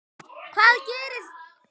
Hvað gerðir þú?